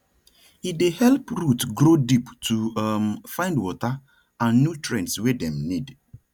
e dey help root grow deep to um find water and nutrients wey dem need